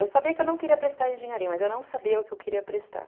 Eu sabia que eu não queria prestar engenharia, mas eu não sabia o que eu queria prestar.